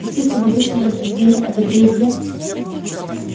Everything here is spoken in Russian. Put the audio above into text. пуститься в обычные рассуждения о добре и зле